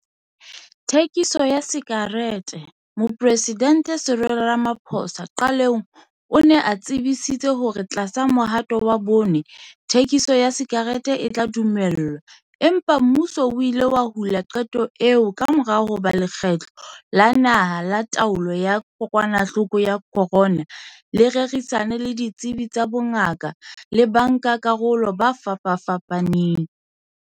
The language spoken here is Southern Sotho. Thekiso ya sakereteMoporesidente Cyril Ramaphosa qalong o ne a tsebisitse hore tlasa Mohato wa Bone, thekiso ya sakerete e tla dumellwa empa mmuso o ile wa hula qeto eo kamora hoba Lekgotla la Naha la Taolo ya Kokwanahloko ya Corona le rerisane le ditsebi tsa bongaka le bankakarolo ba fapafapaneng.